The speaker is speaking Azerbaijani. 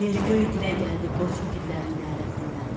Yer-göy dilə gəldi qoç igidlərin nərəsindən.